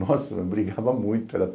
Nossa, brigava muito.